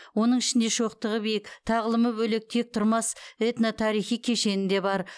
оның ішінде шоқтығы биік тағлымы бөлек тектұрмас этно тарихи кешені де бар